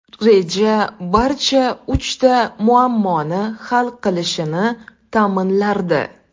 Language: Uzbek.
Reja barcha uchta muammoni hal qilishini ta’minlardi.